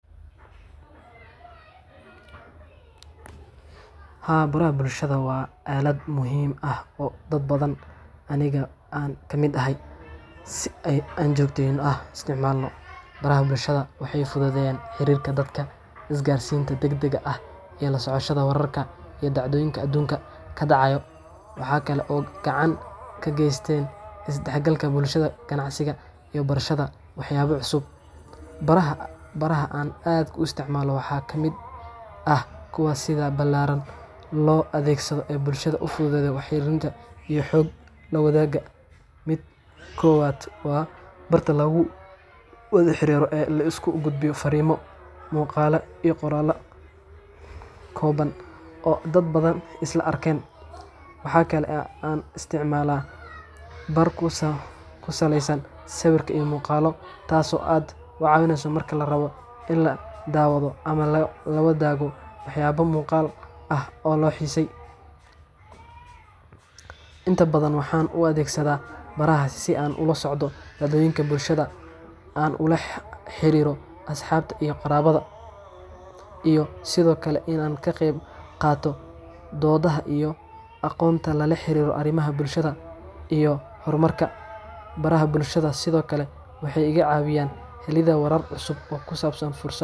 Ha burra bulshada waa caalad muhiim ah oo dad badan aniga aan ka mid ahay si ay aan joogtayno ah isticmaalno. Baraha bulshada waxay fududeen xiriirka dadka, isgaarsiinta degdegga ah, iyo lasoo socoshada wararka iyo dacdooyinka adduunka ka dhacayo. Waxaa kale oo gacan ka geysteen isdhexgalka bulshada, ganacsiga yo barshadda, waxyaabo cusub. Baraha baraha aan aad ku isticmaalo waxaa ka mid ah kuwa sida ballaaran loo adeegsado ee bulshada u fududee, wakheenna iyo xog la wadaaga. Mid koowaad waa barta lagu wada xiriira ee la isku gudbiyo fariimo muuqaala iyo qoraal kooban oo dad badan isla arkeen. Waxaa kale aan isticmaalaa barku usoo ku salaysan sawirka iyo muuqaalo taaso aad wacaweyneyso marka la rabo in la daawado ama la la wadaago waxyaabo muuqal ah oo loo xiisey. Inta badan waxaan u adeegsadaa baraha si aan ula socdo dadweynka bulshada, aan ula xiriiro asxaabta iyo qoraalada, iyo sidoo kale in aan ka qeyb qaato doodaha iyo aqoonta lala xiriira arrimaha bulshada iyo xormarka. Baraha bulshada sidoo kale waxay iga caawiyeen helida warar cusub oo ku saabsan fursad.